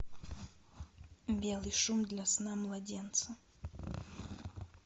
белый шум для сна младенца